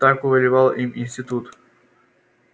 так повелевал им институт